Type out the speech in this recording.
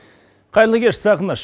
қайырлы кеш сағыныш